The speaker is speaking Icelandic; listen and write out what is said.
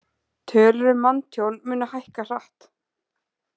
Tölur um manntjón munu hækka hratt